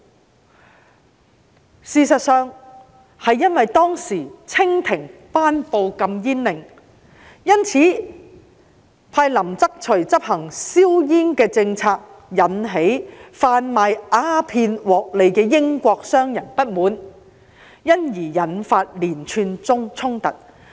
然而，事實是當時清廷頒布禁煙令，派林則徐執行銷煙政策，引起販賣鴉片獲利的英國商人不滿，因而引發連串衝突。